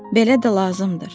Belə də lazımdır.